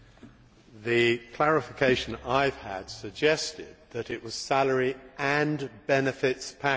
The clarification I have had suggested that it was salary and benefits package'.